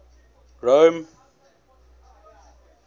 rome